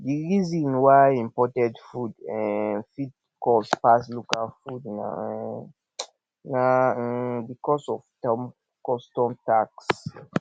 di reason why imported food um fit cost pass local um na um because of custom tax